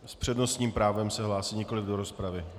S přednostním právem se hlásí, nikoliv do rozpravy.